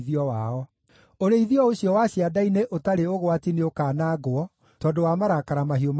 Ũrĩithio ũcio wa cianda-inĩ ũtarĩ ũgwati nĩũkanangwo tondũ wa marakara mahiũ ma Jehova.